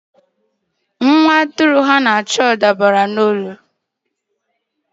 Nwa atụrụ ha na-achọ dabara n'olulu.